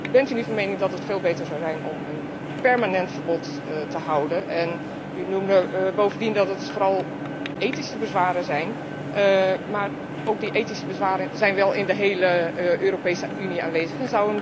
Bent u niet van mening dat het veel beter zou zijn om een permanent verbod te houden en u wees er bovendien op dat er vooral ethische bezwaren zijn, maar die ethische bezwaren zijn wel in de hele Europese Unie aanwezig.